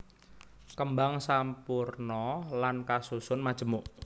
Kembang sampurna lan kasusun majemuk